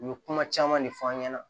U ye kuma caman ne f'an ɲɛna